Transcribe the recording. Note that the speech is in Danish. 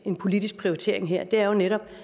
en politisk prioritering her er jo netop